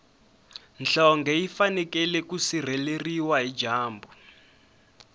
nhlonge yi fanekele ku sireleriwa hi dyambu